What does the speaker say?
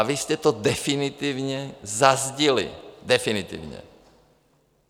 A vy jste to definitivně zazdili, definitivně.